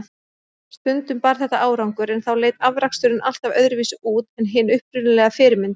Stundum bar þetta árangur, en þá leit afraksturinn alltaf öðruvísi út en hin upprunalega fyrirmynd.